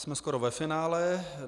Jsme skoro ve finále.